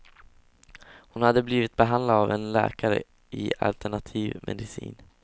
Hon hade blivit behandlad av en läkare i alternativ medicin.